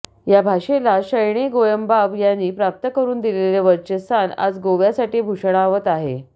या भाषेला शणै गोयंबाब यांनी प्राप्त करून दिलेले वरचे स्थान आज गोव्यासाठी भुषणावत आहे